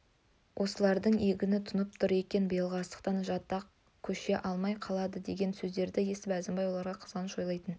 осылардың егіні тұнып тұр екен биылғы астықтан жатақ көше алмай қалады деген сөздерді есітіп әзімбай оларға қызғаныш ойлайтын